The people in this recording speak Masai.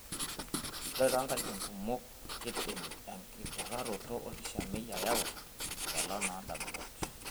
Ore too nkatitin kumok, keidim enkiturraroto olkishamiet ayau enchalan oondamunot.